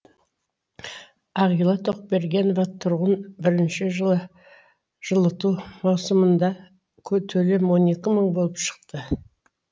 ағила тоқбергенова тұрғын бірінші жылы жылыту маусымында төлем он екі мың болып шықты